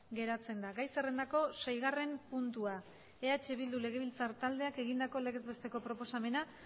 geratzen da gai zerrendako seigarren puntua eh bildu legebiltzar taldeak egindako legez besteko proposamena